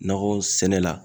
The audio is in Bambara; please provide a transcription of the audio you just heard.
Nakɔ sɛnɛ la